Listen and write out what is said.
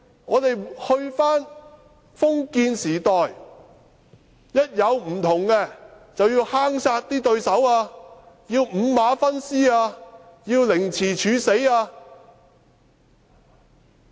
我們是否回到封建時代，當有不同意見，便要坑殺對手、五馬分屍或凌遲處死嗎？